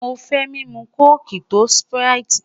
Mo fẹ mimu coke to sprite